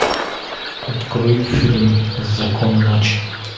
открой фильм закон ночи